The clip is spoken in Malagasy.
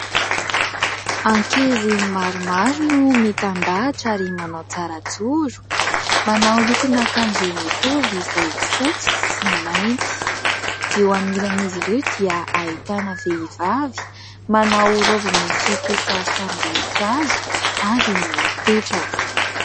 Ankizy maromaro no mitandahatra ary manao tsara joro, manao lokon'akanjo mitovy, izay fotsy sy mainty. Eo anilan'izy ireo dia ahitana vehivavy manao roby misy kisarisarim-boninkazo, ary mipetraka.